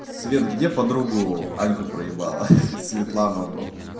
света где подругу аньку проебала хи-хи светлановну